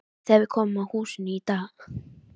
Þegar við komum að húsinu í